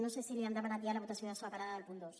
no sé si li han demanat ja la votació separada del punt dos